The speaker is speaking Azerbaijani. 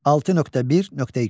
6.1.2.